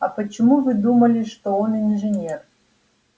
а почему вы думали что он инженер